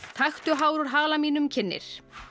taktu hár úr hala mínum kynnir